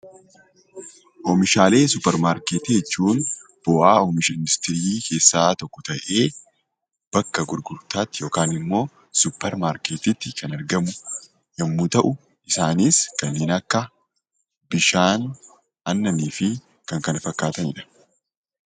Oomishaalee suppermaarketii jechuun bu'aa oomisha industirii keessaa tokko ta'ee, bakka gurgurtaatti yookaan immoo suppermaarketiitti kan argamu yommuu ta'u, isaanis kanneen akka bishaan, aannanii fi kan kana fakkaatani dha.